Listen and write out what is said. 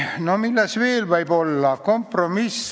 Milles veel võib olla kompromiss?